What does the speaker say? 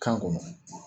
Kan kɔnɔ